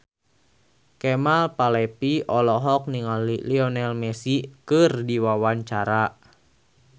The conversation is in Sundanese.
Kemal Palevi olohok ningali Lionel Messi keur diwawancara